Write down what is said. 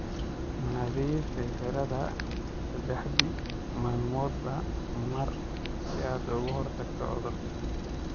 Nadiifi xiradha saddexdii maalmoodba mar si aad uga hortagto cudur.